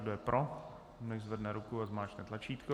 Kdo je pro, nechť zvedne ruku a zmáčkne tlačítko.